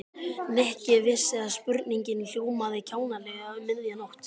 Nikki vissi að spurningin hljómaði kjánalega um miðja nótt.